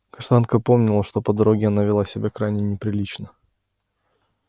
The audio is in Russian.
каштанка помнила что по дороге она вела себя крайне неприлично